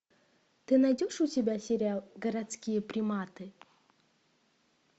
ты найдешь у себя сериал городские приматы